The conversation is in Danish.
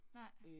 Nej